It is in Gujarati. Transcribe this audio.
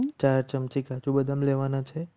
ચાર ચમચી કાજુ બદામ લેવાના છે.